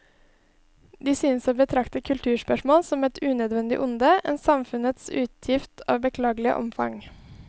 De synes å betrakte kulturspørsmål som et unødvendig onde, en samfunnets utgift av beklagelig omfang.